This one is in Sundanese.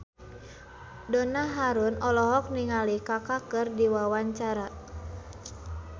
Donna Harun olohok ningali Kaka keur diwawancara